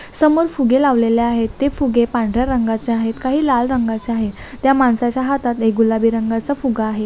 समोर फुगे लावलेले आहे ते फुगे पांढऱ्या रंगाचे आहेत काही लाल रंगाचे आहेत त्या माणसाच्या हातात गुलाबी रंगांचे फुगा आहे.